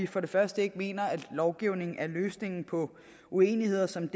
for det første mener at lovgivning er løsningen på uenigheder som